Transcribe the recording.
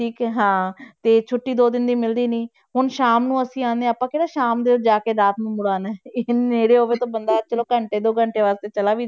ਠੀਕ ਹੈ ਹਾਂ ਤੇ ਛੁੱਟੀ ਦੋ ਦਿਨ ਦੀ ਮਿਲਦੀ ਨੀ ਹੁਣ ਸ਼ਾਮ ਨੂੰ ਅਸੀਂ ਆਉਂਦੇ ਹਾਂ ਆਪਾਂ ਕਿਹੜਾ ਸ਼ਾਮ ਦੇ ਜਾ ਕੇ ਰਾਤ ਨੂੰ ਮੁੜ ਆਉਂਦੇ ਹਾਂ, ਇੱਕ ਨੇੜੇ ਹੋਵੇ ਤਾਂ ਬੰਦਾ ਚਲੋ ਘੰਟੇ ਦੋ ਘੰਟਿਆਂ ਵਾਸਤੇ ਚਲਾ ਵੀ,